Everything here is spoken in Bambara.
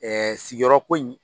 sigiyɔrɔ ko in.